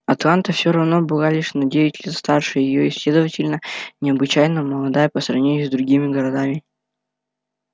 атланта всё равно была лишь на девять лет старше её и следовательно необычайно молода по сравнению с другими городами